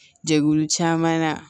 Jɛkulu caman na